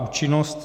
Účinnost.